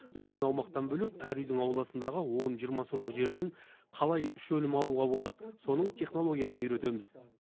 үлкен аумақтан бөлек әр үйдің ауласындағы он жиырма сотық жерден қалай үш өнім алуға болады соның технологиясын үйретеміз